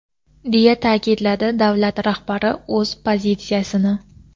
deya ta’kidladi davlat rahbari o‘z pozitsiyasini.